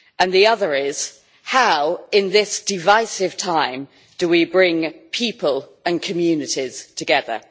The other is how in this divisive time do we bring people and communities together?